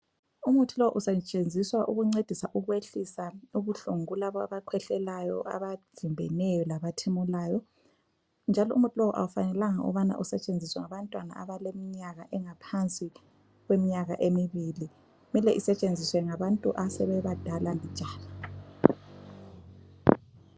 Umuthi lo usetshenziswa ukuncedisa ukwehlisa ubuhlungu kulabo abakhwehlayo, abavimbeneyo labathimulayo njalo umuthi lo akufanelanga ukubana usetshenziswe ngabantwana abaleminyaka engaphansi kweminyaka emibili kumele isetshenziswe ngabantu asebebadala mbijana.